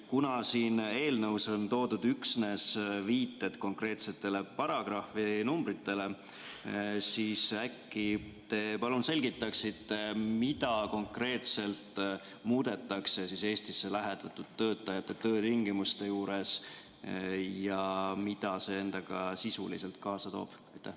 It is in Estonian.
Kuna siin eelnõus on toodud üksnes viited konkreetsetele paragrahvinumbritele, siis äkki te palun selgitate, mida konkreetselt muudetakse Eestisse lähetatud töötajate töötingimustes ja mida see endaga sisuliselt kaasa toob?